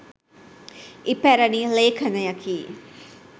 ඉපැරණි ලේඛණයකි.